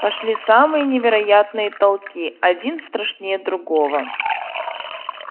пошли самые невероятные толки один страшнее другого